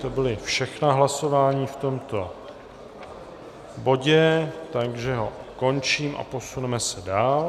To byla všechna hlasování v tomto bodě, takže ho končím a posuneme se dál.